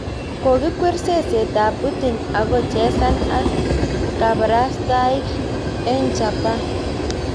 Koikwor seset ab Putin ako chesan ak kabarastaik eng chaban